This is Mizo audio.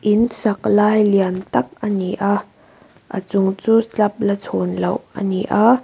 in sak lai lian tâk ani a a chung chu slab la chhun loh ani a.